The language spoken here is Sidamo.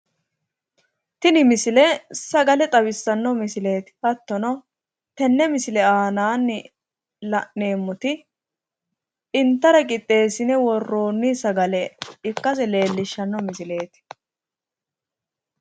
tini misile sagale xawissanno misileeti hattono tenne misile aanaanni la'neemmoti intara qixxeessine worroonni sagale ikkase leellishshanno misileeti.